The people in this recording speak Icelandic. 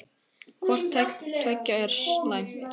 Hvort tveggja er slæmt.